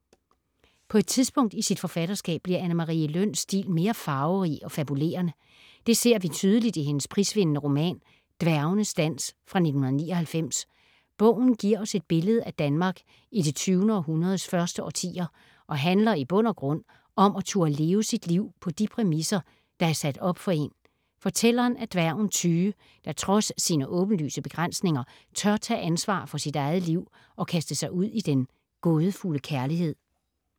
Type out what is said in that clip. På et tidspunkt i sit forfatterskab bliver Anne Marie Løns stil mere farverig og fabulerende. Det ser vi tydeligt i hendes prisvindende roman Dværgenes dans fra 1999. Bogen giver os et billede af Danmark i det 20. århundredes første årtier, og handler i bund og grund om at turde leve sit liv på de præmisser, der er sat op for en. Fortælleren er dværgen Tyge, der trods sine åbenlyse begrænsninger, tør tage ansvar for sit eget liv og kaste sig ud i den gådefulde kærlighed.